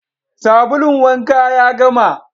Sabulun wanka ya gama